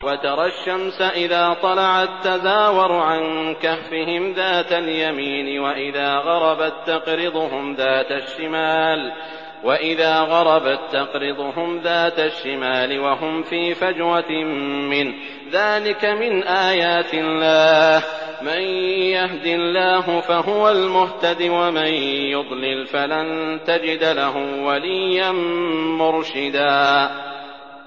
۞ وَتَرَى الشَّمْسَ إِذَا طَلَعَت تَّزَاوَرُ عَن كَهْفِهِمْ ذَاتَ الْيَمِينِ وَإِذَا غَرَبَت تَّقْرِضُهُمْ ذَاتَ الشِّمَالِ وَهُمْ فِي فَجْوَةٍ مِّنْهُ ۚ ذَٰلِكَ مِنْ آيَاتِ اللَّهِ ۗ مَن يَهْدِ اللَّهُ فَهُوَ الْمُهْتَدِ ۖ وَمَن يُضْلِلْ فَلَن تَجِدَ لَهُ وَلِيًّا مُّرْشِدًا